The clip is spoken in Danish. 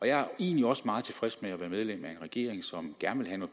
jeg er egentlig også meget tilfreds med at være medlem af en regering som gerne vil